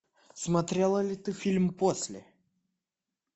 смотрела ли ты фильм после